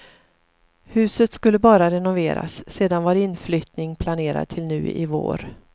Huset skulle bara renoveras, sedan var inflyttning planerad till nu i vår.